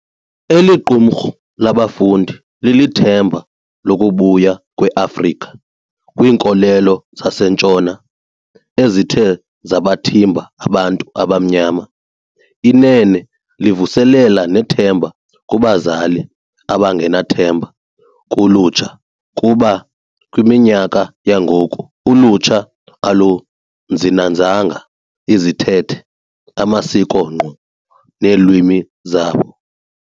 Eliqumrhu labafundi lilithemba lokubuya kwe Afrika kwiinkolelo zaseNtshona ezithe zabathimba abantu abamnyama. Inene livuselela nethemba kubazali abangenathemba kulutsha kuba kwiminyaka yangoku ulutsha aluzinanzanga izithethe amasiko nkqu neelwimi zabo.